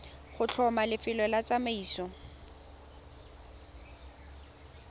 go tlhoma lefelo la tsamaiso